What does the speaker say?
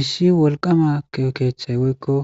Issi wolqama keethayi woyko